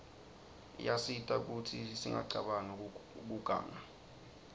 iyasita kutsi singacabanq kiuganga